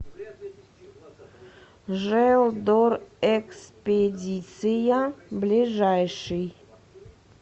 желдорэкспедиция ближайший